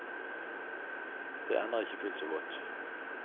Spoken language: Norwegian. Det ender ikke fullt så godt.